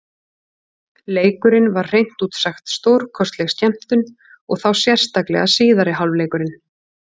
Leikurinn var hreint út sagt stórkostleg skemmtun, og þá sérstaklega síðari hálfleikurinn.